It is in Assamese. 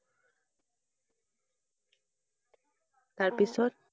তাৰপিছত?